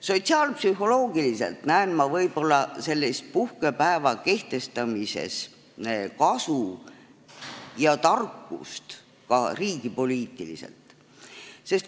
Sotsiaalpsühholoogiliselt näen ma võib-olla selle puhkepäeva kehtestamises kasu ja tarkust ka riigipoliitilises mõttes.